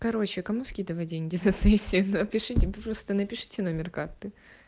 короче кому скидывать деньги за сессию напишите просто напишите номер карты